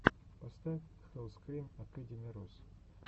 поставь хэллскрим акэдими рус